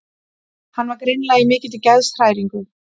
Hann var greinilega í mikilli geðshræringu.